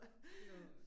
Mh